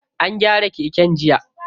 An gyara keken jiya.